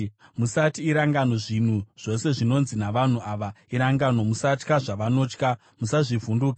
“Musati irangano zvinhu zvose zvinonzi navanhu ava irangano; musatya zvavanotya, musazvivhunduka.